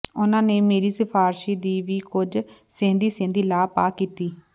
ਉਹਨਾਂ ਨੇ ਮੇਰੀ ਸਿਫ਼ਾਰਸ਼ੀ ਦੀ ਵੀ ਕੁਝ ਸਹਿੰਦੀ ਸਹਿੰਦੀ ਲਾਹ ਪਾਹ ਕੀਤੀ